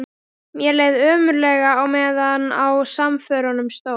Mér leið ömurlega á meðan á samförunum stóð.